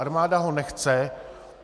Armáda ho nechce.